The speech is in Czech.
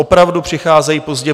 Opravdu přicházejí pozdě.